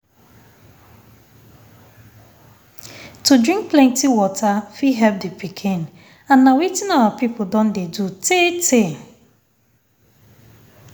to drink plenty water fit help the pikin and na wetin our people don dey do tey tey.